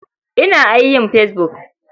Ina ia yin fesbuk.